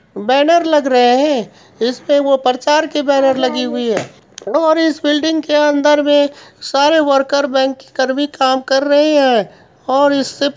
banner लग रहे है इसमें वो प्रचार की बैनर लगी हुई है और इस बिल्डिंग के अंदर मे सारे वर्कर बैंक के कर्मी काम कर रहे है और इससे--